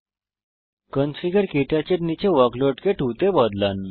configure ক্টাচ এর নীচে ওয়ার্কলোড কে 2 এ বদলান